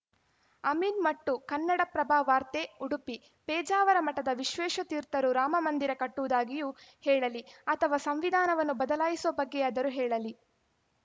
ಅಮೀನ್‌ಮಟ್ಟು ಕನ್ನಡಪ್ರಭ ವಾರ್ತೆ ಉಡುಪಿ ಪೇಜಾವರ ಮಠದ ವಿಶ್ವೇಶತೀರ್ಥರು ರಾಮಮಂದಿರ ಕಟ್ಟುವುದಾಗಿಯೂ ಹೇಳಲಿ ಅಥವಾ ಸಂವಿಧಾನವನ್ನು ಬದಲಾಯಿಸುವ ಬಗ್ಗೆಯಾದರೂ ಹೇಳಲಿ